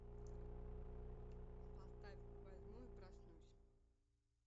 поставь возьму и проснусь